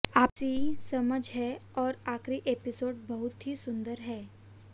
आपसी समझ है और आखिरी एपिसोड बहुत ही सुंदर है